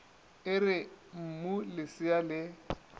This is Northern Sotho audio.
e re mmu lesea le